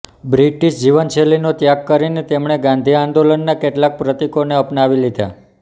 British જીવનશૈલીનો ત્યાગ કરીને તેમણે ગાંધી આંદોલનના કેટલાંક પ્રતિકોને અપનાવી લીધાં